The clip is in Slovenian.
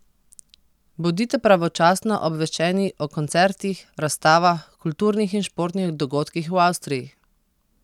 Bodite pravočasno obveščeni o koncertih, razstavah, kulturnih in športnih dogodkih v Avstriji!